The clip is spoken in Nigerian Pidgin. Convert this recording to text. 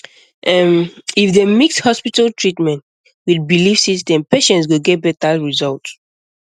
ehm if dem mix hospital treatment with belief system patients go get better result